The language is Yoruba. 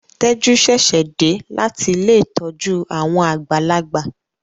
Teju ṣẹṣẹ dé láti Ilé ìtọjú àwọn àgbàlagbà.